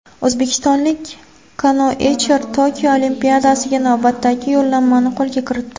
O‘zbekistonlik kanoechilar Tokio Olimpiadasiga navbatdagi yo‘llanmani qo‘lga kiritdi.